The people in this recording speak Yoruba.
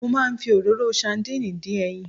Mo máa ń fi òróró sadínìì dín ẹyin.